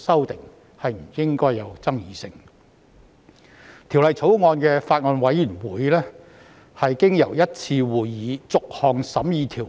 《2019年成文法條例草案》委員會經由1次會議逐項審議條文。